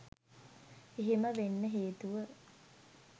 එහෙම වෙන්න හේතුව